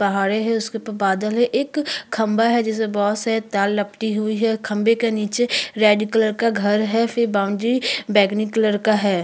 पहाडे है उसके ऊपर बादल है एक खंबा है जिसे बहोत से तार लपटि हुई हैं और खंभे के नीचे रेड कलर का घर है फिर बाउंड्री बैगनी कलर का है।